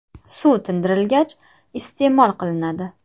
Suv tindirilgach, iste’mol qilinadi.